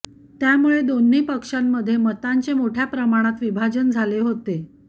त्यामुळे दोन्ही पक्षांमध्ये मतांचे मोठ्या प्रमाणात विभाजन झाले होते